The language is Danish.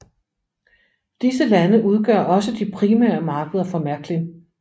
Disse lande udgør også de primære markeder for Märklin